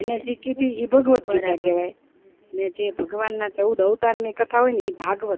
એની જે કીધી ઈ ભાગવત ગીતા કેવાય ને જે ભગવાન ના ચૌદ અવતાર ની કથા હોય ને ભાગવત કેવાય